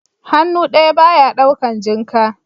Hannu ɗaya ba ya ɗaukan jinka